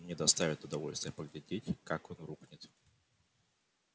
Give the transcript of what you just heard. мне доставит удовольствие поглядеть как он рухнет